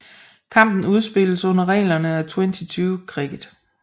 Kampen spilles under reglerne af Twenty20 cricket